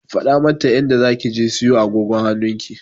Faɗa mata inda zaki je siyo agogon hannunki!